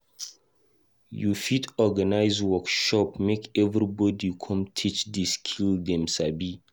You fit organise workshop make everybodi come teach di skill dem sabi.